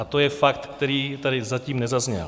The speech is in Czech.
A to je fakt, který tady zatím nezazněl.